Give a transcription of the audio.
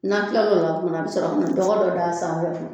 N'a tilal'o la tuma na a bɛ sɔrɔ ka na dɔgɔ dɔ da sanfɛ